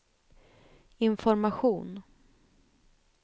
information